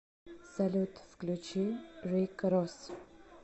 салют включи рик росс